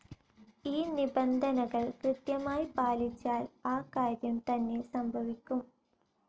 ഈ നിബന്ധനകൾ കൃത്യമായ് പാലിച്ചാൽ ആ കാര്യം തന്നെ സംഭവിക്കും.